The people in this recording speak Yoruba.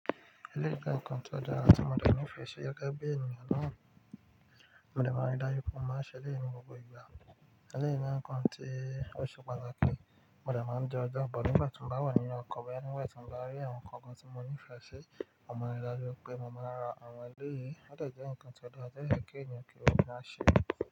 Eléyìí jẹ́ nǹkan tó dára tí mo dẹ̀ ní ìfẹ́ ṣí gẹ́gẹ́ bí ènìyàn náà mo dẹ̀ máa ń rí dájú pé mó máa ń ṣẹ éléyì ní gbogbo ìgbà. Eléyìí jẹ́ nǹkan tí ó ṣe pàtàkì, mo dẹ̀ máa ń di ọja bọ̀ nígbà tí mo bá wà nínú ọkọ̀ bóyá, nígbà tí mo bá rí àwọn nǹkan kan tí mo ní ìfẹ́ ṣe, a mo màa ń rí dájú pé mo máa ra àwọn eléyìí. Ó dè jẹ́ nǹkan ti óda, tó dé yẹ́ kí ènìyàn kí ó máa ṣe.